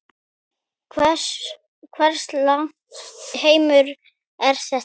Hvers lags heimur er þetta?